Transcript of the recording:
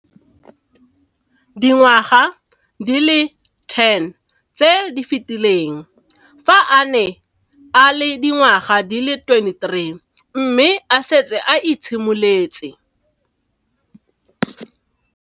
Dingwaga di le 10 tse di fetileng, fa a ne a le dingwaga di le 23 mme a setse a itshimoletse